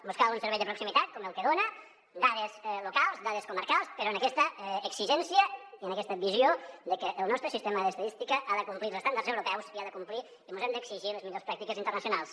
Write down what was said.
buscar un servei de proximitat com el que dona dades locals dades comarcals però amb aquesta exigència i amb aquesta visió de que el nostre sistema de estadística ha de complir els estàndards europeus hi ha de complir i mos hem d’exigir les millors pràctiques internacionals